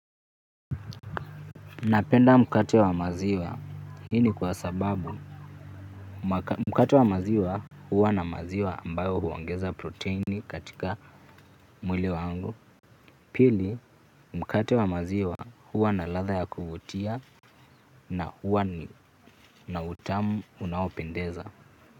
Napenda mkate wa maziwa. Hii ni kwasababu mkate wa maziwa huwa na maziwa ambayo huongeza proteini katika mwile wangu. Pili mkate wa maziwa huwa na ladha ya kuvutia na huwa na utamu unaopendeza.